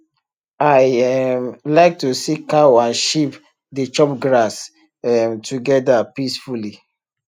i um like to see cow and sheep dey chop grass um togeda peacefully